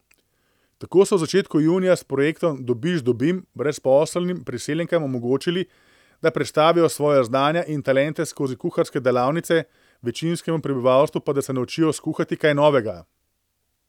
Tako so v začetku junija s projektom Dobiš Dobim brezposelnim priseljenkam omogočili, da predstavijo svoja znanja in talente skozi kuharske delavnice, večinskemu prebivalstvu pa da se naučijo skuhati kaj novega.